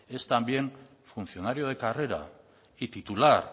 es también funcionario de carrera y titular